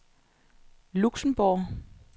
Luxembourg